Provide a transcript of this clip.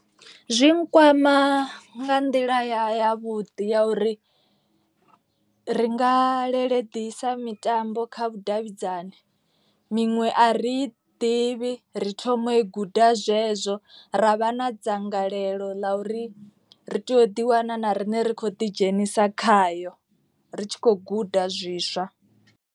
Zwi nkwama nga nḓila ya vhuḓi ya uri ri nga lele ḓisa mitambo kha vhudavhidzani. Miṅwe a ri ḓi ḓivhi ri thoma i guda zwezwo ra vha na dzangalelo ḽa uri ri tea u ḓi wana na riṋe ri kho ḓi dzhenisa khayo. Ri tshi khou guda zwiswa.